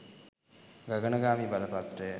ගගනගාමී බලපත්‍රය